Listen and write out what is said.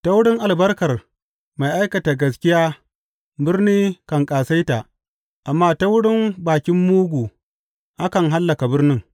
Ta wurin albarkar mai aikata gaskiya birni kan ƙasaita, amma ta wurin bakin mugu akan hallaka birnin.